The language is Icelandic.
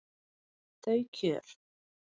Þau kjör